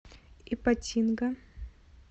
ипатинга